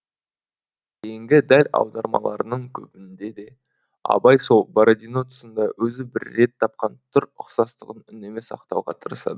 кейінгі дәл аудармаларының көбінде де абай сол бородино тұсында өзі бір рет тапқан түр ұқсастығын үнемі сақтауға тырысады